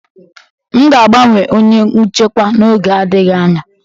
M ga-agbanwe onye nchịkwa n'oge adịghị anya